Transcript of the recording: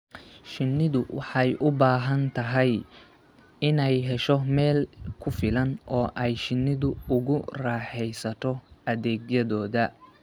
Shinnidu waxay u baahan tahay inay hesho meel ku filan oo ay shinnidu ugu raaxaysato adeegyadooda.